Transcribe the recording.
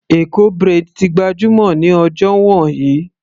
Eko braid ti gbajúmọ̀ ní ọjọ́ wọ̀nyí.